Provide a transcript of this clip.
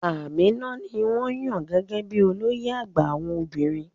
Aminatu ni wọ́n yàn gẹ́gẹ́ bí i olóyè àgbà àwọn obìnrin.